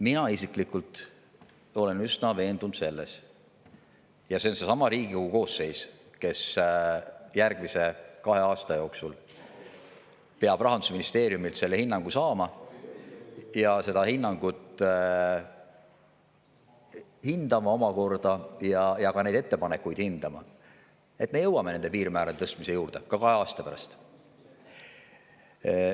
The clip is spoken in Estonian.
Mina isiklikult olen üsna veendunud selles, et kuna see on seesama Riigikogu koosseis, kes järgmise kahe aasta jooksul peab Rahandusministeeriumilt selle hinnangu saama, seda omakorda hindama ja ka neid ettepanekuid hindama, siis me jõuame nende piirmäärade tõstmise juurde ka kahe aasta pärast.